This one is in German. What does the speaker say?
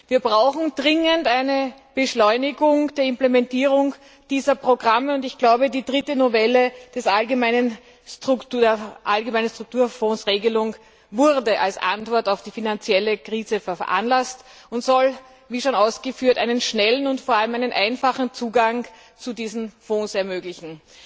Wir brauchen dringend eine Beschleunigung der Implementierung dieser Programme, und ich glaube, die dritte Novelle der allgemeinen Strukturfondsregelung wurde als Antwort auf die finanzielle Krise veranlasst und soll, wie schon ausgeführt, einen schnellen und vor allem einfachen Zugang zu diesen Fonds ermöglichen.